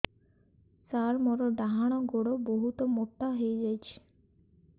ସାର ମୋର ଡାହାଣ ଗୋଡୋ ବହୁତ ମୋଟା ହେଇଯାଇଛି